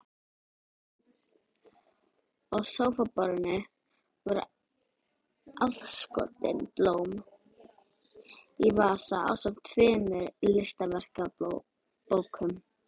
Á sófaborðinu voru afskorin blóm í vasa ásamt tveimur listaverkabókum.